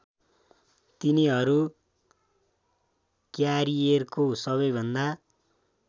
तिनीहरू क्यारियरको सबैभन्दा